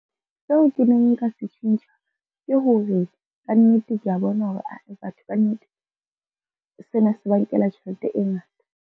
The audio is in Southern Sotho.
Seo ke neng nka se tjhentjha, ke hore ka nnete kea bona, hore ae batho kannete, sena se ba nkela tjhelete e ngata.